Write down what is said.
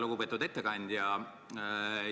Lugupeetud ettekandja!